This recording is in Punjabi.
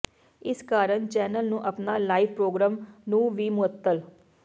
ਇਸ ਕਾਰਨ ਚੈਨਲ ਨੂੰ ਆਪਣਾ ਲਾਈਵ ਪ੍ਰੋਗਰਾਮ ਨੂੰ ਵੀ ਮੁਅੱਤਲ